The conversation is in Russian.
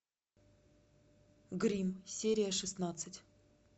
гримм серия шестнадцать